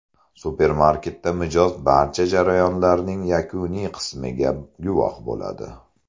Supermarketda mijoz barcha jarayonlarning yakuniy qismiga guvoh bo‘ladi.